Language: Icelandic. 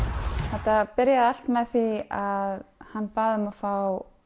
þetta byrjaði allt með því að hann bað um að fá